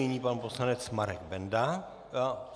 Nyní pan poslanec Marek Benda.